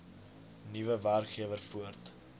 nuwe werkgewer voort